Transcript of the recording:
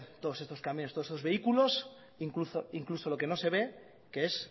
todos estos camiones todos estos vehículos incluso lo que no se ve que es